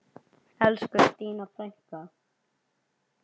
Elsku Stína frænka.